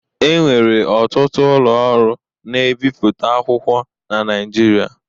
E nwere ọtụtụ ụlọ ọrụ na-ebipụta akwụkwọ na Naịjirịa.